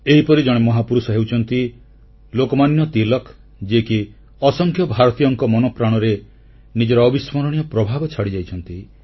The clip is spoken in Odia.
ଏହିପରି ଜଣେ ମହାପୁରୁଷ ହେଉଛନ୍ତି ଲୋକମାନ୍ୟ ତିଳକ ଯିଏକି ଅସଂଖ୍ୟ ଭାରତୀୟଙ୍କ ମନପ୍ରାଣରେ ନିଜର ଅବିସ୍ମରଣୀୟ ପ୍ରଭାବ ଛାଡ଼ିଯାଇଛନ୍ତି